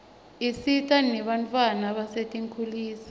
isita nebantfwana basetinkhulisa